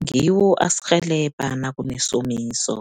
Ngiwo asirhelebha nakunesomiso.